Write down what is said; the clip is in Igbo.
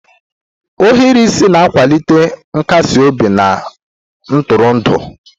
Ohiri isi na-akwalite nkasi obi na ntụrụndụ.